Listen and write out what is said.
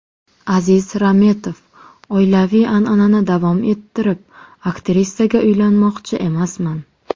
Aziz Rametov: Oilaviy an’anani davom ettirib aktrisaga uylanmoqchi emasman.